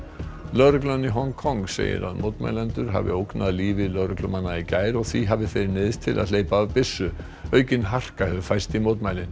lögreglan í Hong Kong segir að mótmælendur hafi ógnað lífi lögreglumanna í gær og því hafi þeir neyðst til að hleypa af byssu aukin harka hefur færst í mótmælin